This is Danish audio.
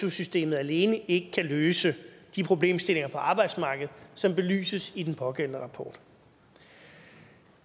su systemet alene ikke kan løse de problemstillinger på arbejdsmarkedet som belyses i den pågældende rapport når